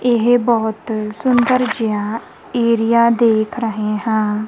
ਇਹ ਬਹੁਤ ਸੁੰਦਰ ਜਿਹਾ ਏਰੀਆ ਦੇਖ ਰਹੇ ਹਾਂ।